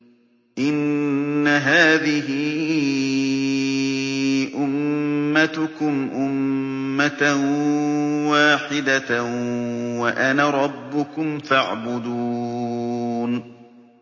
إِنَّ هَٰذِهِ أُمَّتُكُمْ أُمَّةً وَاحِدَةً وَأَنَا رَبُّكُمْ فَاعْبُدُونِ